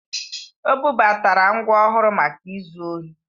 O bubatara ngwa ọhụrụ maka izu ohi